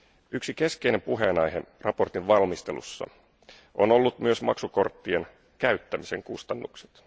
Yksi keskeinen puheenaihe mietinnön valmistelussa on ollut myös maksukorttien käyttämisen kustannukset.